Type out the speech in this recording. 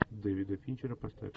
дэвида финчера поставь